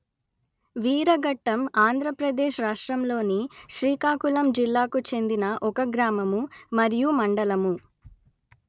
వీరఘట్టం ఆంధ్ర ప్రదేశ్ రాష్ట్రములోని శ్రీకాకుళం జిల్లాకు చెందిన ఒక గ్రామము మరియు మండలము